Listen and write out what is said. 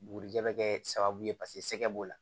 Bugurijɛ bɛ kɛ sababu ye paseke b'o la